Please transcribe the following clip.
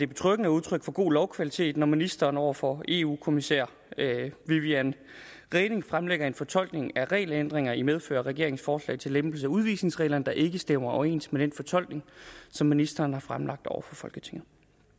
betryggende og udtryk for god lovkvalitet når ministeren over for eu kommissær viviane reding fremlægger en fortolkning af regelændringen i medfør af regeringens forslag til lempelse af udvisningsreglerne der ikke stemmer overens med den fortolkning som ministeren har fremlagt over for folketinget